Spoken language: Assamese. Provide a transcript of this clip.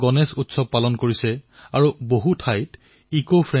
গণেশোৎসৱো কিছু কিছু স্থানত অনলাইনত পালন কৰা হৈছে